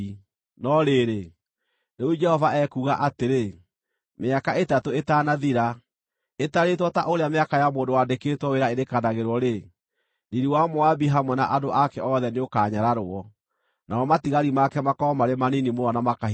No rĩrĩ, rĩu Jehova ekuuga atĩrĩ: “Mĩaka ĩtatũ ĩtanathira, ĩtarĩtwo ta ũrĩa mĩaka ya mũndũ wandĩkĩtwo wĩra ĩrĩkanagĩrwo-rĩ, riiri wa Moabi hamwe na andũ ake othe nĩũkanyararwo, namo matigari make makorwo marĩ manini mũno na makahinyara.”